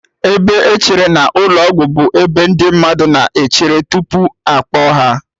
Ebe echere na ụlọ ọgwụ bụ ebe ndị mmadụ na-echere tupu akpọọ ha